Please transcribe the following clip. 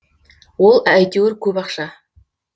ол әйтеуір көп ақша